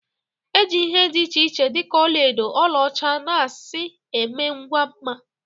E ji ihe dị iche iche dị ka ọla edo, ọla ọcha, na asị eme ngwa mma